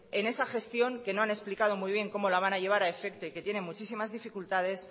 en esa gestión que no han explicado muy bien cómo lo van a llevar a efecto y que tiene muchísimas dificultades